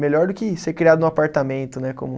Melhor do que ser criado num apartamento, né? Como